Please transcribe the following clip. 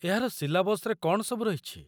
ଏହାର ସିଲାବସ୍‌ରେ କ'ଣ ସବୁ ରହିଛି?